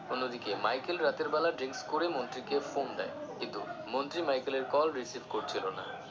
অন্যদিকে Michael রাত্রের বেলা drinks করে মন্ত্রীকে ফোন দেয় কিন্তু মন্ত্রী Michael এর call receive করছিলো না